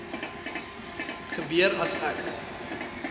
gebeur as ek